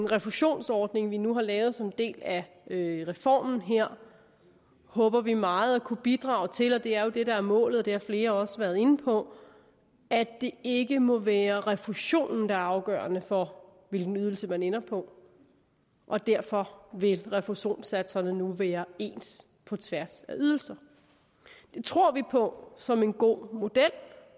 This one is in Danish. refusionsordning vi nu har lavet som en del af reformen her håber vi meget at kunne bidrage til og det er jo det der er målet og det har flere også været inde på at det ikke må være refusionen der er afgørende for hvilken ydelse man ender på og derfor vil refusionssatserne nu være ens på tværs af ydelserne det tror vi på som en god model